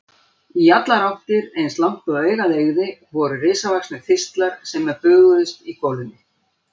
Í allar áttir, eins langt og augað eygði, voru risavaxnir þistlar sem bylgjuðust í golunni.